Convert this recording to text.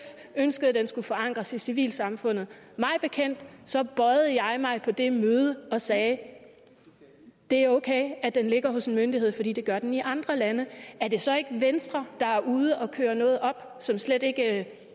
ønskede at den skulle forankres i civilsamfundet mig bekendt bøjede jeg mig på det møde og sagde det er okay at den ligger hos en myndighed fordi det gør den i andre lande er det så ikke venstre der er ude at køre noget op som slet ikke